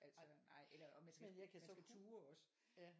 Altså nej eller og man skal man skal turde også